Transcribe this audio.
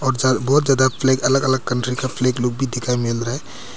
बहुत ज्यादा फ्लैग अलग अलग कंट्री का फ्लैग लोग भी दिखाई मिल रहा है।